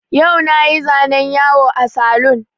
Yau na yi zanen yawo a saloon